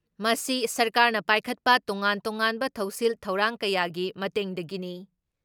ꯃꯁꯤ ꯁꯔꯀꯥꯔꯅ ꯄꯥꯏꯈꯠꯄ ꯇꯣꯉꯥꯟ ꯇꯣꯉꯥꯟꯕ ꯊꯧꯁꯤꯜ ꯊꯧꯔꯥꯡ ꯀꯌꯥꯒꯤ ꯃꯇꯦꯡꯗꯒꯤꯅꯤ ꯫